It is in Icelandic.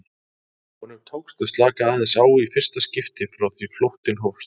Honum tókst að slaka aðeins á í fyrsta skipti frá því flóttinn hófst.